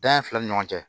Dan filɛ ni ɲɔgɔn cɛ